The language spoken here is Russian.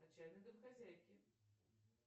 отчаянные домохозяйки